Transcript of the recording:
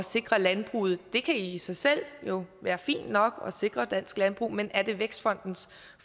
sikre landbruget det kan jo i sig selv være fint nok at sikre dansk landbrug men er det vækstfondens